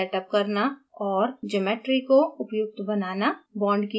force field set up करना और geometry को उपयुक्त बनाना